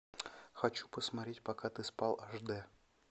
хочу посмотреть пока ты спал аш дэ